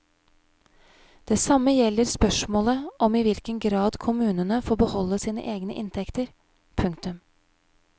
Det samme gjelder spørsmålet om i hvilken grad kommunene får beholde sine egne inntekter. punktum